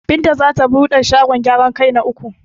Binta zata bude shagon gyaran kai na uku.